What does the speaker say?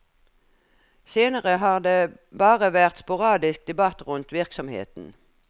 Senere har det bare vært sporadisk debatt rundt virksomheten.